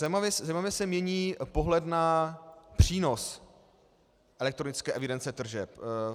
Zajímavě se mění pohled na přínos elektronické evidence tržeb.